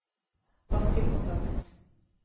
bakkekontakt